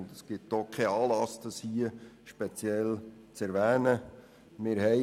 Ebenso wenig gibt es einen Anlass, es hier speziell zu erwähnen.